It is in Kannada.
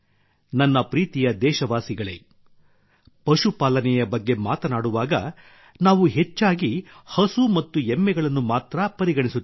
ನನ್ನ ಪ್ರೀತಿಯ ದೇಶವಾಸಿಗಳೇ ಪಶುಪಾಲನೆಯ ಬಗ್ಗೆ ಮಾತನಾಡುವಾಗ ನಾವು ಹೆಚ್ಚಾಗಿ ಹಸು ಮತ್ತು ಎಮ್ಮೆಗಳನ್ನು ಮಾತ್ರಾ ಪರಿಗಣಿಸುತ್ತೇವೆ